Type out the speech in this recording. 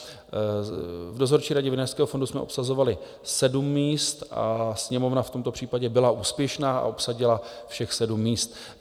V dozorčí radě Vinařského fondu jsme obsazovali sedm míst a Sněmovna v tomto případě byla úspěšná a obsadila všech sedm míst.